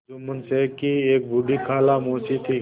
जुम्मन शेख की एक बूढ़ी खाला मौसी थी